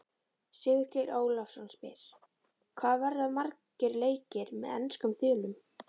Sigurgeir Ólafsson spyr: Hvað verða margir leikir með enskum þulum?